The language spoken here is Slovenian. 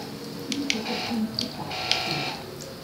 Tričetrtinski takt ima.